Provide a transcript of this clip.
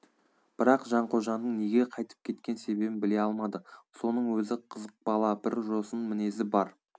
бірақ жанқожаның неге қайтып кеткен себебін біле алмады соның өзі қызық бала бір жосын мінезі бар